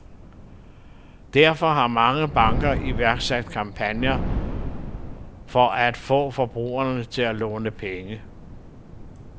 Derfor har mange banker iværksat kampagner for at få forbrugerne til at låne penge.